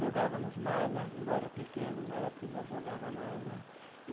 Jogávamos malha, embora pequeno, na época já jogava malha.